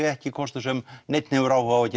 ekki kostur sem neinn hefur áhuga á að